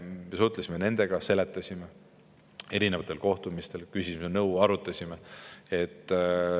Me suhtlesime nendega, seletasime asju erinevatel kohtumistel, küsisime nõu, arutasime.